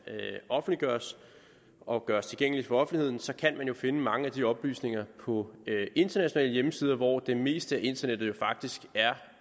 offentliggøres og gøres tilgængeligt for offentligheden så kan man jo finde mange af de oplysninger på internationale hjemmesider hvor det meste af internettet faktisk er